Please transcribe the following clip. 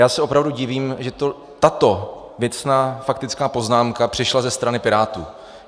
Já se opravdu divím, že to tato věcná faktická poznámka přišla ze strany Pirátů.